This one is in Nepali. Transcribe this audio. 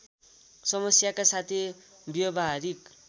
समस्याका साथै व्यवहारिक